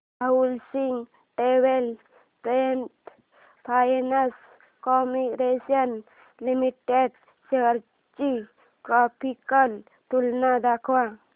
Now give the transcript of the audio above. housing development finance corporation limited shares ची graphical तुलना दाखव